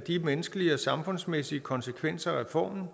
de menneskelige og samfundsmæssige konsekvenser af reformen